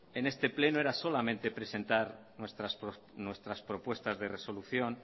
en este pleno era solamente presentar nuestras propuestas de resolución